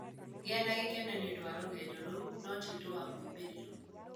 Gĩa na gĩkeno nĩ ũndũ wa rũgendo rũu, no ti ũndũ wa moimĩrĩro.